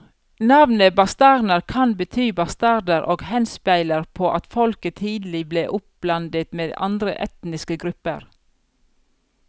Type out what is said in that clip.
Navnet bastarner kan bety bastarder og henspeiler på at folket tidlig ble oppblandet med andre etniske grupper.